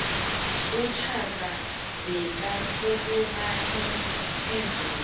ushaka bekakhuluma isizulu